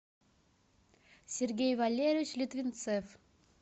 сергей валерьевич литвинцев